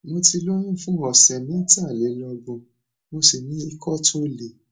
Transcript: mo ti lóyún fún ọsẹ mẹtàlélọgbọn mo sì ní ikọ tó le